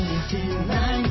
M 2